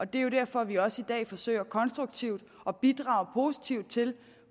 det er jo derfor vi også i dag forsøger konstruktivt at bidrage positivt til